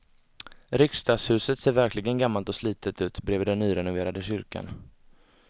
Riksdagshuset ser verkligen gammalt och slitet ut bredvid den nyrenoverade kyrkan.